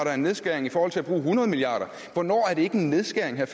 er en nedskæring i forhold til at bruge hundrede milliard hvornår er det ikke en nedskæring er